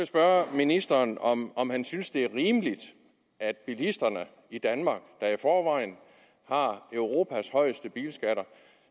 spørge ministeren om om han synes det er rimeligt at bilisterne i danmark der i forvejen har europas højeste bilskatter